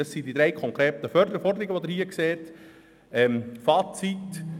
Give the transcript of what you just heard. Dies sind die drei konkreten Forderungen, die Sie im Vorstosstext finden.